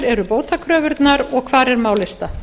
eru bótakröfurnar og hvar er málið statt